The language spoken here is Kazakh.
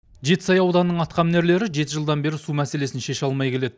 жетісай ауданының атқамінерлері жеті жылдан бері су мәселесін шеше алмай келеді